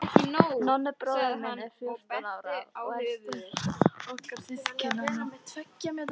Nonni bróðir minn er fjórtán ára og elstur okkar systkinanna.